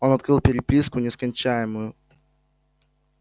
он открыл переписку нескончаемую